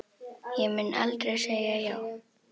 Ég mun aldrei segja já.